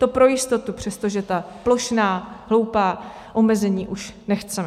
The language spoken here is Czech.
To pro jistotu, přestože ta plošná, hloupá omezení už nechceme.